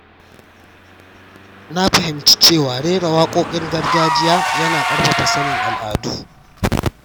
Na fahimci cewa rera waƙoƙin gargajiya yana ƙarfafa sanin al’adu.